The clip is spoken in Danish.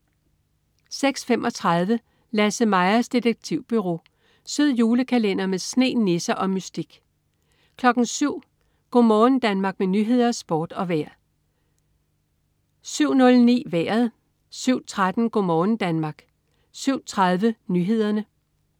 06.35 LasseMajas Detektivbureau. Sød julekalender med sne, nisser og mystik (man-fre) 07.00 Go' morgen Danmark med nyheder, sport og vejr (man-fre) 07.00 Nyhederne og Sporten (man-fre) 07.09 Vejret (man-fre) 07.13 Go' morgen Danmark (man-fre) 07.30 Nyhederne (man-fre)